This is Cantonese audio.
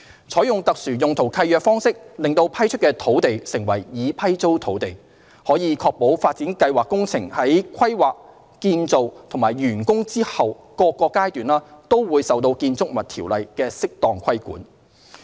採用特殊用途契約方式令批出的土地成為"已批租土地"，可確保發展計劃工程在規劃、建造及完工後各個階段，均受《建築物條例》適當規管。